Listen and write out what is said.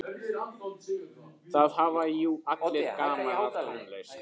Það hafa jú allir gaman af tónlist.